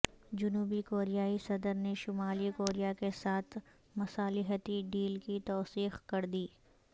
جنوبی کوریائی صدر نے شمالی کوریا کے ساتھ مصالحتی ڈیل کی توثیق کر دی